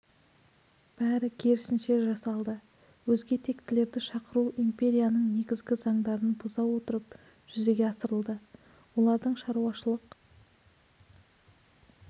бәрі керісінше жасалды өзге тектілерді шақыру империяның негізгі заңдарын бұза отырып жүзеге асырылды олардың шаруашылық